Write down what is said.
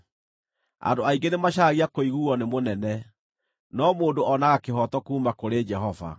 Andũ aingĩ nĩmacaragia kũiguuo nĩ mũnene, no mũndũ oonaga kĩhooto kuuma kũrĩ Jehova.